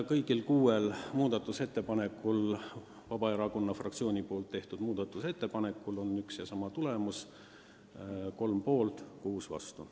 Kõigi kuue Vabaerakonna fraktsiooni tehtud muudatusettepaneku puhul oli üks ja seesama tulemus: kolm poolt, kuus vastu.